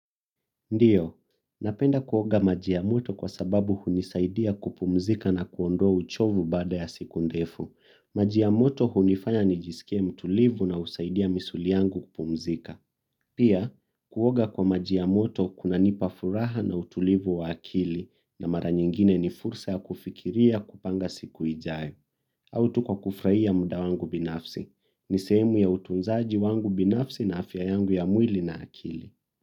Ndiyo napenda kuoga maji ya moto kwa sababu hunisaidia kupumzika na kuondoa uchovu baada ya siku ndefu maji ya moto hunifanya nijisikie mtulivu na husaidia misuli yangu kupumzika. Pia, kuoga kwa maji ya moto kunanipa furaha na utulivu wa akili na mara nyingine ni fursa ya kufikiria kupanga siku ijayo. Au tu kwa kufurahia muda wangu binafsi. Ni sehemu ya utunzaji wangu binafsi na afya yangu ya mwili na akili.